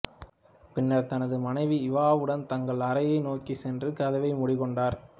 பின்னர் தனது மனைவி இவாவுடன் தங்கள் அறையை நோக்கிச் சென்று கதவைச் மூடிக்கொண்டார்